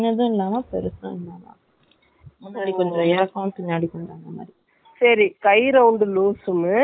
இந்த இடுப்புகிட்டயும், breast கிட்டயும் நிறைய loose வேணு நினைக்குறேன் இல்லையா.